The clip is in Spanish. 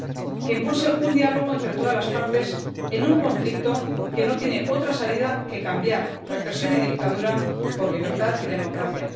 para que impulse un diálogo entre todas las partes en un conflicto que no tiene otra salida que cambiar represión y dictadura por libertad y democracia.